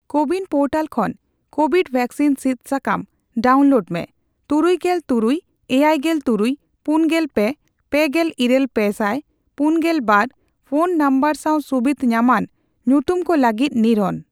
CoWIN portal ᱠᱷᱚᱱ Covid vaccine ᱥᱤᱫ ᱥᱟᱠᱟᱢ ᱰᱟᱣᱩᱱᱞᱳᱰ ᱢᱮ ᱛᱩᱨᱩᱭᱜᱮᱞ ᱛᱩᱨᱩᱭ ,ᱮᱭᱟᱭ ᱜᱮᱞ ᱛᱩᱨᱩᱭ ,ᱯᱩᱱᱜᱮᱞ ᱯᱮ ,ᱯᱮᱜᱮᱞ ᱤᱨᱟᱹᱞ ᱯᱮ ᱥᱟᱭ ᱯᱩᱱᱜᱮᱞ ᱵᱟᱨ ᱯᱷᱚᱱ ᱱᱚᱢᱵᱚᱨ ᱥᱟᱣ ᱥᱩᱵᱤᱫᱷ ᱧᱟᱢᱟᱱ ᱧᱩᱛᱩᱢ ᱠᱚ ᱞᱟᱹᱜᱤᱫ ᱱᱤᱨᱳᱱ ᱾